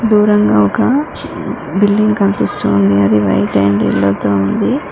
దూరంగా ఒక బిల్డింగ్ కనిపిస్తోంది అది వైట్ అండ్ యెల్లో తో ఉంది.